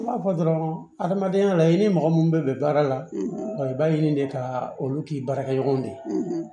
N m'a fɔ dɔrɔn adamadenya la i ni mɔgɔ minnu bɛ bɛn baara la wa i b'a ɲini de ka olu k'i baarakɛɲɔgɔnw de